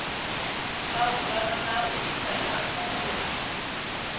malugana na u ta khathulo